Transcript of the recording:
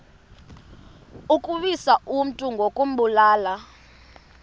ukuwisa umntu ngokumbulala